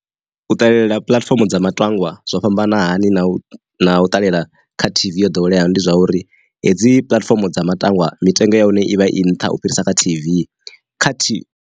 U ṱalela puḽatifomo dza matangwa zwo fhambanani na na u ṱalela kha T_V ya ḓoweleaho ndi zwa uri, hedzi puḽatifomo dza matangwa mitengo ya hone ivha i nṱha u fhirisa kha T_V kha T.